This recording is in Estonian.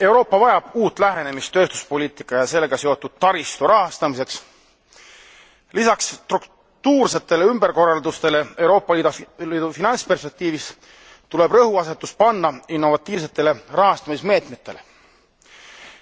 Euroopa vajab uut lähenemist tööstuspoliitika ja sellega seotud taristu rahastamiseks. Lisaks struktuursetele ümberkorraldustele Euroopa Liidu finantsperspektiivis tuleb rõhuasetus panna innovatiivsetele rahastamismeetmetele.